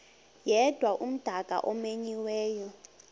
yedwa umdaka omenyiweyo